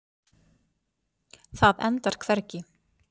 Það endar hvergi.